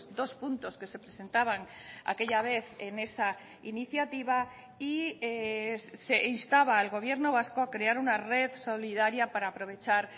dos puntos que se presentaban aquella vez en esa iniciativa y se instaba al gobierno vasco a crear una red solidaria para aprovechar